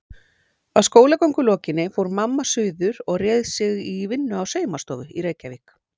Að skólagöngu lokinni fór mamma suður og réð sig í vinnu á saumastofu í Reykjavík.